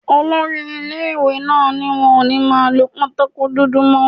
Olori ilé-ìwé náà ní wọn ò ní máa lọ pátákò dúdú mọ́